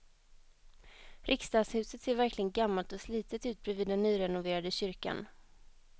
Riksdagshuset ser verkligen gammalt och slitet ut bredvid den nyrenoverade kyrkan.